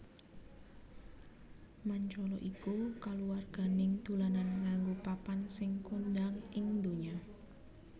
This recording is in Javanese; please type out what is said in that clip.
Mancala iku kaluwarganing dolanan nganggo papan sing kondhang ing ndonya